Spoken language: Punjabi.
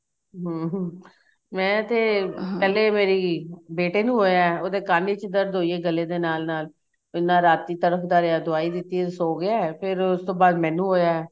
ਹਮ ਹਮ ਮੈਂ ਤੇ ਪਹਿਲੇ ਮੇਰੀ ਬੇਟੇ ਨੂੰ ਹੋਇਆ ਉਹਦੇ ਕੰਨ ਵਿੱਚ ਦਰਦ ਹੋਈ ਏ ਗੱਲੇ ਦੇ ਨਾਲ ਨਾਲ ਇੰਨਾ ਰਾਤੀ ਤੜਫਦਾ ਰਿਹਾ ਦਵਾਈ ਦਿੱਤੀ ਸੋ ਗਿਆ ਫੇਰ ਉਸ ਤੋਂ ਬਾਅਦ ਮੈਨੂੰ ਹੋਇਆ